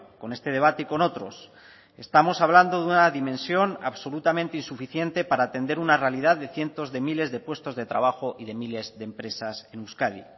con este debate y con otros estamos hablando de una dimensión absolutamente insuficiente para atender una realidad de cientos de miles de puestos de trabajo y de miles de empresas en euskadi